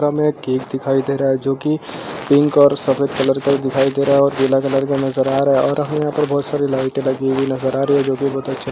पर हमें एक केक दिखाई दे रहा है जोकि पिंक और सफ़ेद कलर का ही दिखाई दे रहा है और पिला कलर का नजर आ रहा है और हमें यहाँ पर बहुत सारी लाइटे लगी हुई नजर आ रही है जोकि बहुत अच्छी --